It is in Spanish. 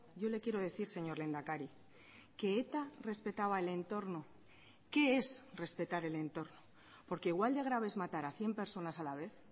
yo le quiero decir señor lehendakari que eta respetaba el entorno qué es respetar el entorno porque igual de grave es matar a cien personas a la vez